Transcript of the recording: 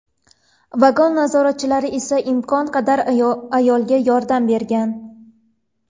Vagon nazoratchilari esa imkon qadar ayolga yordam bergan.